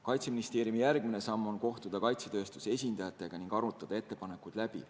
Kaitseministeeriumi järgmine samm on kohtuda kaitsetööstuse esindajatega ning arutada ettepanekud läbi.